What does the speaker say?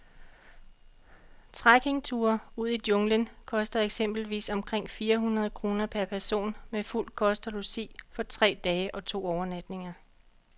Trekkingture ud i junglen koster eksempelvis omkring fire hundrede kroner per person med fuld kost og logi for tre dage og to overnatninger.